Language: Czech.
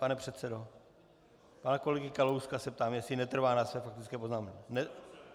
Pane předsedo, pana kolegy Kalouska se ptám, jestli netrvá na své faktické poznámce.